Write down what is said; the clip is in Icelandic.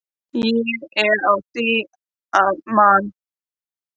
Ég er á því að Man.